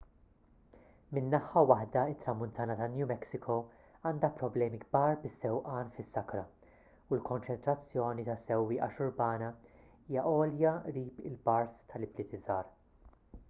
minn naħa waħda it-tramuntana ta' new mexico għandha problemi kbar bis-sewqan fis-sakra u l-konċentrazzjoni ta' sewwieqa xurbana hija għolja qrib il-bars tal-ibliet żgħar